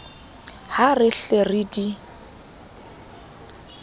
ha re hle re di